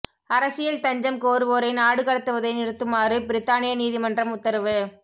அரசியல் தஞ்சம் கோருவோரை நாடு கடத்துவதை நிறுத்துமாறு பிரித்தானிய நீதிமன்றம் உத்தரவு